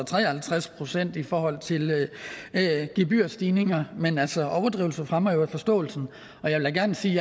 tre og halvtreds procent i forhold til gebyrstigninger men altså overdrivelse fremmer vel forståelsen og jeg vil gerne sige